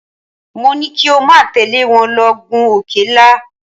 Mo ní kí o má tẹ̀lé wọn lọ gun òkè ńlá.